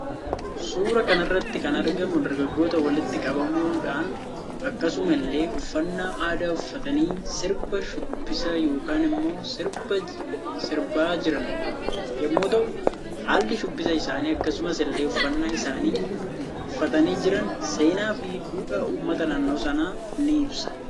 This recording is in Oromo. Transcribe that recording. Suuraa kanarratti kan argamu drgagggoota walitti qabamiudhaan akkasumaas illee uffaanna aadaa uffatanii sirba shubbisaa yookaan immoo sirbaa jiraan yommuu ta'u hallii shubbisa isaanii akkasumas illee uffannan isaan uffatanii jiraan seena fi dhuudhaa uummata naannoo sana ni ibsa.